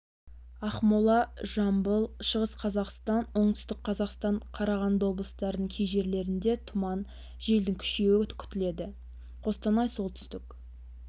ақмола жамбыл шығыс қазақстан оңтүстік қазақстан қарағанды облыстарының кей жерлерінде тұман желдің күшеюі күтіледі қостанай солтүстік